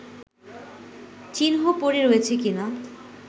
চিহ্ন পড়ে রয়েছে কিনা